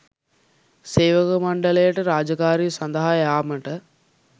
සේවක මණ්ඩලයට රාජකාරිය සදහා යාමට